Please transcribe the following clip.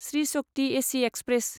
Shri Shakti AC express